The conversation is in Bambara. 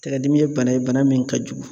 Taɛgɛ dimi ye bana ye, bana min ka jugu.